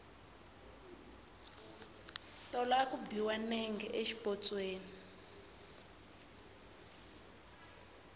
tolo a ku biwa nenge xipotsweni